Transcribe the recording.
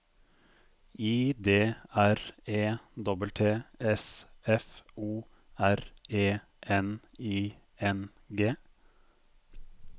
I D R E T T S F O R E N I N G